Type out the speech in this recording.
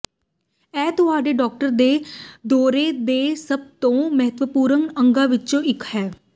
ਇਹ ਤੁਹਾਡੇ ਡਾਕਟਰ ਦੇ ਦੌਰੇ ਦੇ ਸਭ ਤੋਂ ਮਹੱਤਵਪੂਰਨ ਅੰਗਾਂ ਵਿਚੋਂ ਇਕ ਹੈ